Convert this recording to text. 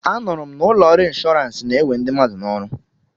Anụrụ m na ụlọ ọrụ inshọransị na-ewe ndị mmadụ n'ọrụ.